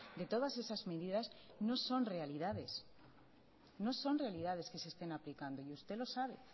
de todas esas medidas no son realidades no son realidades que se estén aplicando y usted lo sabe